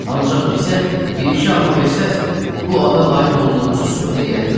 Ancaq bizə bir-iki alma versəz, bu ada layiq olduğumuzu sübut eləyərik.